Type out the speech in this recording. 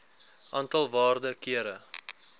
aantal waarde kere